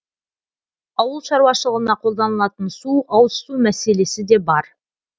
ауыл шаруашылығына қолданылатын су ауызсу мәселесі де бар